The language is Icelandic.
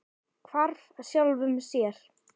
Hvarf sjálfum sér.